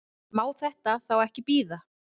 Má þetta þá ekki bíða?